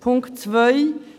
Punkt 2: